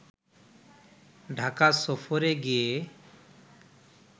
ঢাকা সফরে গিয়ে